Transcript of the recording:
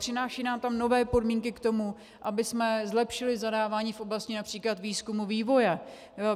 Přináší nám tam nové podmínky k tomu, abychom zlepšili zadávání v oblasti například výzkumu a vývoje.